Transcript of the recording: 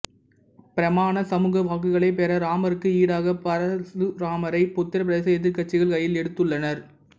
பிராமண சமூக வாக்குகளைப் பெற இராமருக்கு ஈடாக பரசுராமரை உத்தரப்பிரதேச எதிர்கட்சிகள் கையில் எடுத்துள்ளனர்